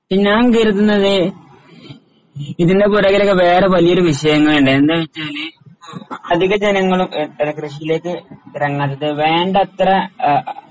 ഞാൻ കരുതുന്നത് ഇതിൻറെ പുറകിലൊക്കെ വേറെ വലിയൊരു വിഷയങ്ങളുണ്ട്. എന്താച്ചാല് ഇപ്പോ അധിക ജനങ്ങളും ഏഹ് കൃഷിയിലേക്ക് ഇറങ്ങാത്തത് വേണ്ടത്ര ആഹ്